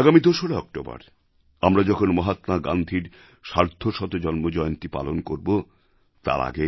আগামী ২রা অক্টোবর আমরা যখন মহাত্মা গান্ধীর সার্ধশত জন্মজয়ন্তী পালন করবো তার আগে